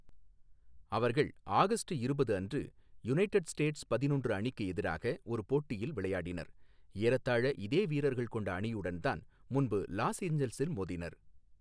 அவர்கள் ஆகஸ்ட் இருபது அன்று யுனைடட் ஸ்டேட்ஸ் பதினொன்று அணிக்கு எதிராக ஒரு போட்டியில் விளையாடினர், ஏறத்தாழ இதே வீரர்கள் கொண்ட அணியுடன் தான் முன்பு லாஸ் ஏஞ்சல்ஸில் மோதினர்.